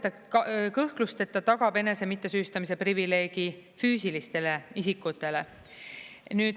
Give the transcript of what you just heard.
Ta kõhklusteta tagab enese mittesüüstamise privileegi füüsilistele isikutele.